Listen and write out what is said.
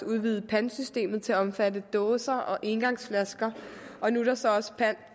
udvidet pantsystemet til også at omfatte dåser og engangsflasker og nu er der så også pant